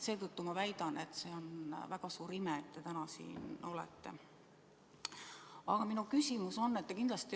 Seetõttu ma väidan, et see on väga suur ime, et te täna siin olete.